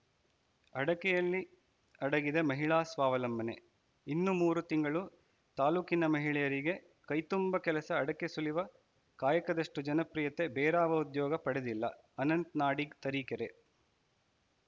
ಅಡಕೆಯಲ್ಲಿ ಅಡಗಿದೆ ಮಹಿಳಾ ಸ್ವಾವಲಂಬನೆ ಇನ್ನು ಮೂರು ತಿಂಗಳು ತಾಲೂಕಿನ ಮಹಿಳೆಯರಿಗೆ ಕೈತುಂಬ ಕೆಲಸ ಅಡಕೆ ಸುಲಿವ ಕಾಯಕದಷ್ಟುಜನಪ್ರಿಯತೆ ಬೇರಾವ ಉದ್ಯೋಗ ಪಡೆದಿಲ್ಲ ಅನಂತ ನಾಡಿಗ್‌ ತರೀಕೆರೆ